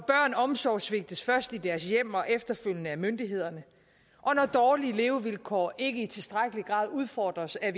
omsorgssvigtes først i deres hjem og efterfølgende af myndighederne og når dårlige levevilkår ikke i tilstrækkelig grad udfordres af